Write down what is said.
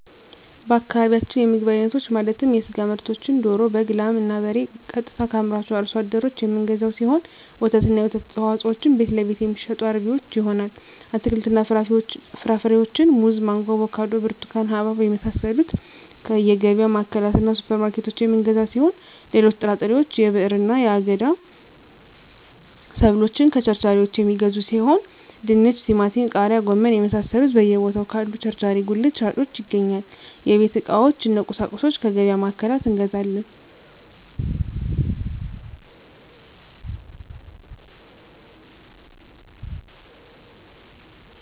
በአካባቢያችን የምግብ አይነቶች ማለትም የስጋ ምርቶችን ደሮ በግ ላም እና በሬ ቀጥታ ከአምራቹ አርሶ አደሮች የምንገዛው ሲሆን ወተትና የወተት ተዋፅኦዎችን ቤትለቤት የሚሸጡ አርቢዎች ይሆናል አትክልትና ፍራፍሬዎችን ሙዝ ማንጎ አቮካዶ ብርቱካን ሀባብ የመሳሰሉትከየገቢያ ማዕከላትእና ሱፐር ማርኬቶች የምንገዛ ሲሆን ሌሎች ጥራጥሬዎች የብዕርና የአገዳ ሰብሎችን ከቸርቻሪዎች የሚገዙ ሲሆን ድንች ቲማቲም ቃሪያ ጎመን የመሳሰሉት በየ ቦታው ካሉ ቸርቻሪ ጉልት ሻጮች ይገኛል የቤት ዕቃዎች እነ ቁሳቁሶች ከገቢያ ማዕከላት እንገዛለን